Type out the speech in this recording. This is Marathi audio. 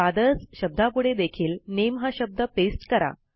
फादर्स शब्दापुढे देखील नामे हा शब्द पेस्ट करा